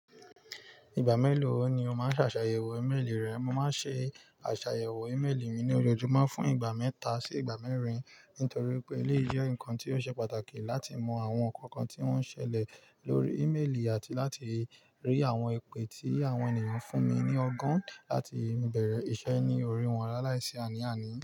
Ìgbà mélòó ni o máa n ṣàṣàyẹ̀wò ímélì rẹ? Mo máa ṣe àṣàyẹ̀wò ímélì mi ní ojoojúmọ́ fún ìgbà mẹ́ta sí ìgbà mẹ́rin. Nítorí pé eléyi jẹ́ nǹkan tí ó ṣe pàtàkì láti mọ àwọn nǹkan kan tí wọ́n ń ṣẹlẹ̀ lórí ímélì àti láti rí àwọn ipè tí àwọn ènìyàn fún mi ní ọgọ́n láti bẹ̀rẹ̀ iṣẹ́ ní orí wọn laláìsí àní-àní.